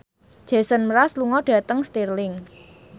Jason Mraz lunga dhateng Stirling